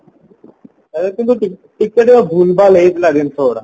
ଆରେ ତୁ ଯୋଉ ଟିକେ ଭୁଲ ଭାଲ ହେଇଥିଲା ଜିନିଷ ଗୁଡା